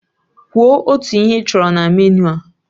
Kwuo otu ihe ị chọrọ na meniu a!